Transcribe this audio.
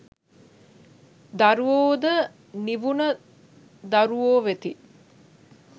දරුවෝ ද නිවුණ දරුවෝ වෙති.